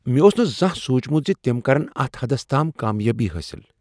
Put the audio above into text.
مےٚ اوس نہٕ زانٛہہ سوٗنٛچمت ز تم کرن اتھ حدس تام کامیٲبی حٲصل۔